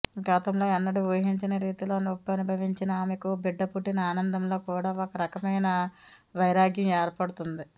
గతంలో ఎన్నడూ ఊహించని రీతిలో నొప్పి అనుభవించిన ఆమెకు బిడ్డ పుట్టిన ఆనందంలో కూడా ఒక రకమైన వైరాగ్యం ఏర్పడుతుంది